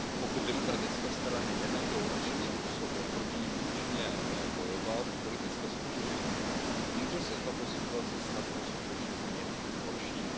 Pokud ovšem demokratické strany nenajdou způsob, jak proti nim účinně bojovat v politické soutěži, může se tato situace snadno skutečně změnit k horšímu.